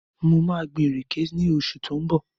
Mo maa gbin ìrèké ní oṣù tí ó ń bọ̀